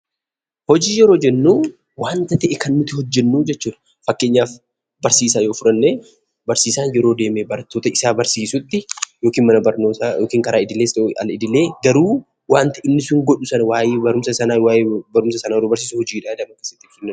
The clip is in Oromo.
Hojii yeroo jennu waanta ta'e kan nuti hojjennu jechuudha. Fakkeenyaaf barsiisaa yoo fudhanne, barsiisaan yeroo deemee barattoota isaa barsiisutti yookiin mana barnootaa yookiin karaa idilees ta'u al idilee garuu waanti inni sun godhu suni waa'ee barumsa sanaa yeroo barsiisu hojiidha jedhama.